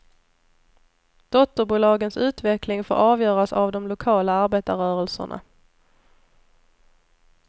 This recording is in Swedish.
Dotterbolagens utveckling får avgöras av de lokala arbetarrörelserna.